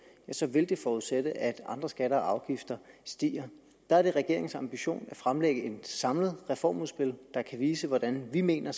så vil det forudsætte at andre skatter og afgifter stiger der er det regeringens ambition at fremlægge et samlet reformudspil der kan vise hvordan vi mener